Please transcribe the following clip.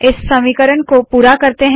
इस समीकरण को पूरा करते है